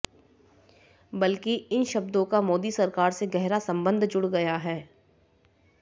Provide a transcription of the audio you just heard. बल्कि इन शब्दों का मोदी सरकार से गहरा संबंध जुड़ गया है